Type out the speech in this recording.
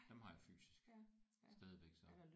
Dem har jeg fysisk stadigvæk så